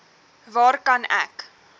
waar kan ek